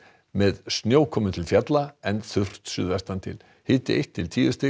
með snjókomu til fjalla en þurrt suðvestantil hiti eitt til tíu stig